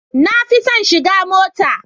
Na fi son shiga mota.